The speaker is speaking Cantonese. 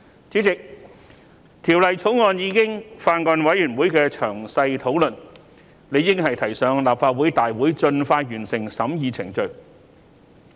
主席，《條例草案》已在法案委員會進行詳細討論，理應提交立法會大會盡快完成審議程序。